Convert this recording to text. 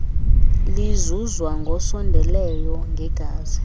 lizuzwa ngosondeleyo ngegazi